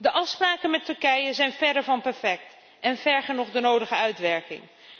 De afspraken met Turkije zijn verre van perfect en vergen nog de nodige uitwerking.